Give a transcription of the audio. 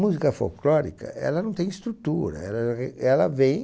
Música folclórica, ela não tem estrutura, é ela vem...